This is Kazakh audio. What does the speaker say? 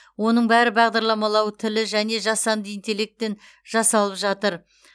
оның бәрі бағдарламалау тілі және жасанды интеллектпен жасалып жатыр